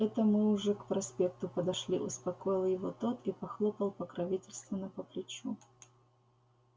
это мы уже к проспекту подошли успокоил его тот и похлопал покровительственно по плечу